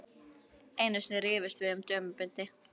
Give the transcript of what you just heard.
Einu sinni rifumst við um dömubindi.